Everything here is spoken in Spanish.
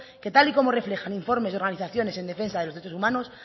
que tal y como reflejan informes de organizaciones en defensa de los derechos humanos